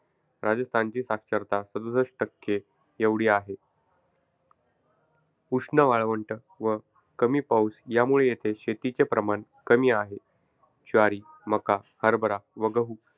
राजस्थानची साक्षरता सदुसष्ट टक्के एवढी आहे. उष्ण वाळवंट व कमी पाऊस यामुळे येथे शेतीचे प्रमाण कमी आहे. ज्वारी, मका, हरबरा व गहू,